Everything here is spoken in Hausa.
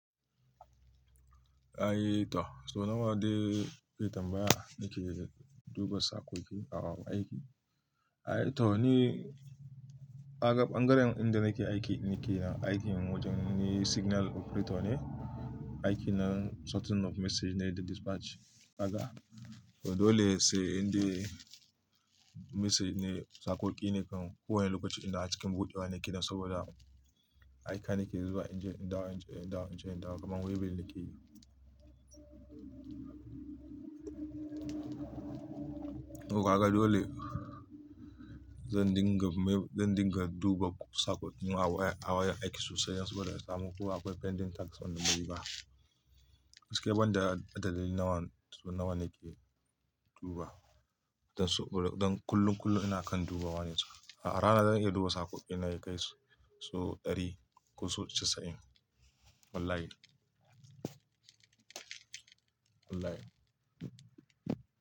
Ai to so nawa dai ita baya ni ke duba saƙo ki aiki. Ai to ni aga ɓangaren inda nake aiki ni ke aiki wajen ni signal operator ne, aiki na sorting of message ne da dispatch aga. To dole sai inda message ne saƙo ki ne kan ko wane lokaci inda a cikin buɗewa ne ke nan saboda aiki na ke zuwa inda in dawo, inda in dawo, inda in dawo kamar wayabil ni ke yi. To kaga dole zan dinga mai, zan dinga duba saƙo ki na waya, a waya aiki sosai yanzu bada samun ko akwai pending text a nombari ba. Misali banda adaloli nawa, so nawa ne ke duba. Dan su, don kullum, kullum ina kan dubawa ne. A rana zan iya duba saƙo ki na ya kai so ɗari ko so casa'in. Wallahi. Wallahi.